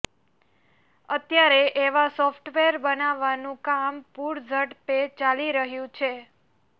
અત્યારે એવા સોફ્ટવેર બનાવવાનું કામ પૂરઝડપે ચાલી રહ્યું છે